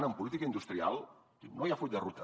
i en política industrial diu no hi ha full de ruta